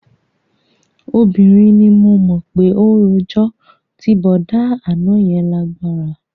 Obìnrin ni mo mọ̀ pé ó rojọ́, ti bọ̀dá àná yẹn lágbára